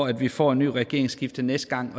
at vi får et regeringsskifte næste gang